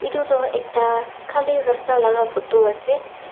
tu toh ekta khali rasta laga photo ase.